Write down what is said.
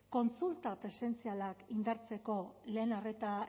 kontsulta presentzialak indartzeko